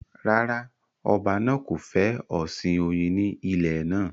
Rárá, ọba náà kò fẹ́ ọ̀sìn oyin ní ilẹ̀ náà